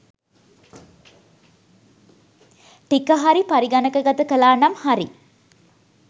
ටිකහරි පරිගණකගත කලානම් හරි